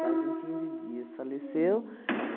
Fazem quinze dias. Faleceu.